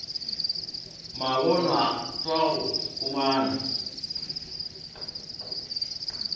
sa mabonwa sa go huma